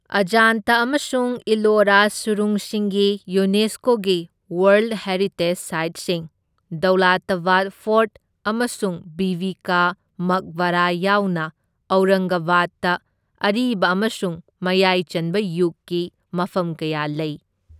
ꯑꯖꯥꯟꯇꯥ ꯑꯃꯁꯨꯡ ꯏꯂꯣꯔꯥ ꯁꯨꯔꯨꯡꯁꯤꯡꯒꯤ ꯌꯨꯅꯦꯁꯀꯣꯒꯤ ꯋꯥꯔꯜꯗ ꯍꯦꯔꯤꯇꯦꯖ ꯁꯥꯏꯠꯁꯤꯡ, ꯗꯧꯂꯇꯕꯥꯗ ꯐꯣꯔꯠ ꯑꯃꯁꯨꯡ ꯕꯤꯕꯤ ꯀꯥ ꯃꯛꯕꯔꯥ ꯌꯥꯎꯅ ꯑꯧꯔꯪꯒꯕꯥꯗꯇ ꯑꯔꯤꯕ ꯑꯃꯁꯨꯡ ꯃꯌꯥꯏꯆꯟꯕ ꯌꯨꯒꯀꯤ ꯃꯐꯝ ꯀꯌꯥ ꯂꯩ꯫